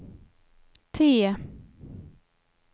T